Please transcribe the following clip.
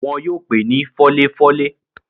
wọn yóò pé ni fọ́léfọ́lé.